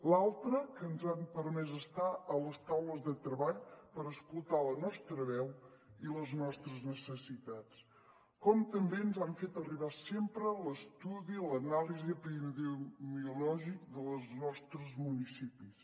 l’altra que ens han permès estar a les taules de treball per escoltar la nostra veu i les nostres necessitats com també ens han fet arribar sempre l’estudi l’anàlisi epidemiològica dels nostres municipis